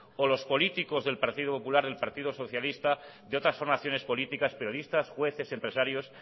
o los políticos del partido popular del partido socialista de otras formaciones políticas periodistas jueces empresarios